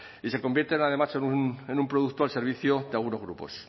y se convierten además en un producto al servicio de algunos grupos